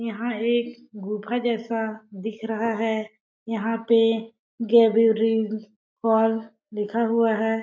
यहाँ एक गुफा जैसा दिख रहा है। यहाँ पे गेबयूरिंग फॉल लिखा हुआ है।